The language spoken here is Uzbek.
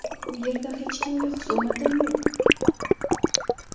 U yerda hech kimga xusumatim yo‘q.